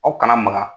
Aw kana maka